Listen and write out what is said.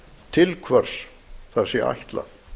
til hvors það sé ætlað